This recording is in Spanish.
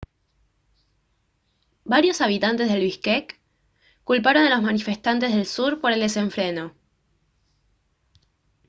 varios habitantes de biskek culparon a los manifestantes del sur por el desenfreno